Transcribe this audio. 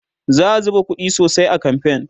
za'a zuba ƙuɗi sosai a kamfen